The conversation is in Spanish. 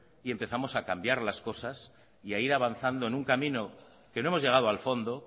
y empezamos a cambiar las cosas y a ir avanzando en un camino que no hemos llegado al fondo